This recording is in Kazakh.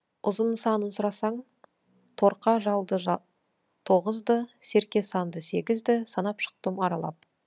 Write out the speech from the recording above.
ұзын санын сұрасаң торқа жалды тоғызды серке санды сегізді санап шықтым аралап